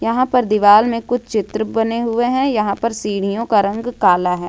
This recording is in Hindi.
यहां पर दीवाल में कुछ चित्र बने हुए हैं यहां पर सीढ़ियों का रंग काला है।